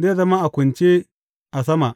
zai zama a kunce a sama.